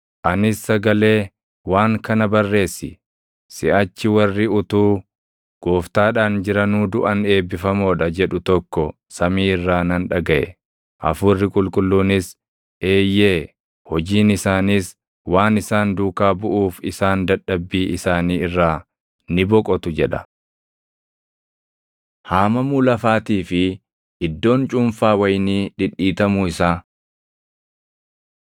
Anis sagalee, “Waan kana barreessi: Siʼachi warri utuu Gooftaadhaan jiranuu duʼan eebbifamoo dha” jedhu tokko samii irraa nan dhagaʼe. Hafuurri Qulqulluunis, “Eeyyee; hojiin isaaniis waan isaan duukaa buʼuuf isaan dadhabbii isaanii irraa ni boqotu” jedha. Haamamuu Lafaatii fi Iddoon Cuunfaa Wayinii Dhidhiitamuu Isaa